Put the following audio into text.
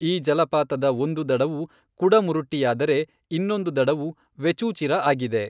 ಈ ಜಲಪಾತದ ಒಂದು ದಡವು ಕುಡಮುರುಟ್ಟಿಯಾದರೆ ಇನ್ನೊಂದು ದಡವು ವೆಚೂಚಿರಾ ಆಗಿದೆ.